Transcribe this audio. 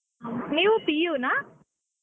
ನೀವೂ PU ನಾ?